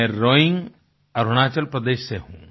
मैं रोइंग अरुणाचल प्रदेश से हूँ